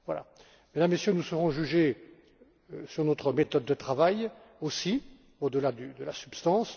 Mesdames et Messieurs, nous serons jugés sur notre méthode de travail aussi, au delà de la substance.